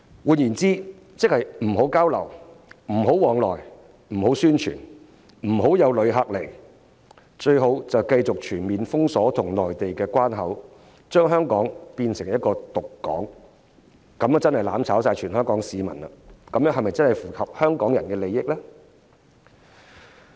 換言之，即是不要交流、不要往來、不要宣傳、不要旅客來港，最好就是繼續全面封鎖與內地的關口，將香港變成"獨港"，這樣真是"攬炒"了全香港市民，這真的是符合香港人的利益嗎？